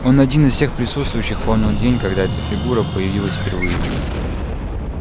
он один из всех присутствующих помнил день когда эта фигура появилась впервые